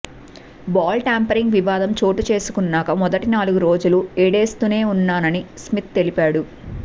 ball tampering వివాదం చోటుచేసుకున్నాక మొదటి నాలుగు రోజులు ఏడేస్తునే ఉన్నానని స్మిత్ తెలిపాడు